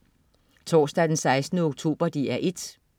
Torsdag den 16. oktober - DR 1: